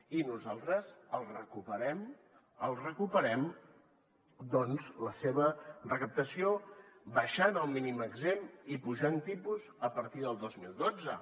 i nosaltres els recuperem en recuperem doncs la seva recaptació abaixant el mínim exempt i apujant tipus a partir del dos mil dotze